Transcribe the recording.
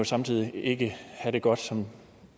samtidig ikke at have det godt som